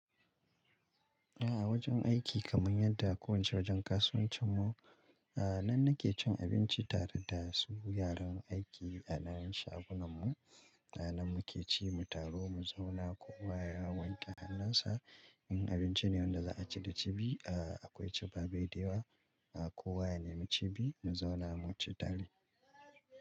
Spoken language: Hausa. A wojen aiki kaman yadda kowace wojen kasuwancin mu, a nan nake cin abinci tare da su yaran aiki a wurin shagunan mu. A nan muke ci mu taru mu zauna kowa ya wanke hannun sa. In abinci ne wanda za a ci da cibi, akwai ciɓaɓaidewa. Kowa ya nemi cibi mu zauna mu ci tare.